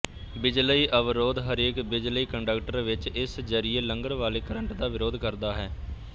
ਬਿਜਲਈ ਅਵਰੋਧ ਹਰੇਕ ਬਿਜਲਈ ਕੰਡਕਟਰ ਵਿੱਚ ਇਸ ਜ਼ਰੀਏ ਲੰਘਣ ਵਾਲੇ ਕਰੰਟ ਦਾ ਵਿਰੋਧ ਕਰਦਾ ਹੈ